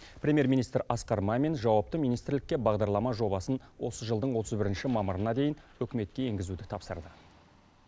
премьер министр асқар мамин жауапты министрлікке бағдарлама жобасын осы жылдың отыз бірінші мамырына дейін үкіметке енгізуді тапсырды